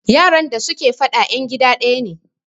yaran da suke fada yan gida daya ne